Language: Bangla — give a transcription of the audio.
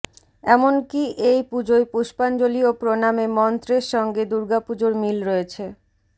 এমনকি এই পুজোয় পুষ্পাঞ্জলি ও প্রণামে মন্ত্রের সঙ্গে দুর্গাপুজোর মিল রয়েছে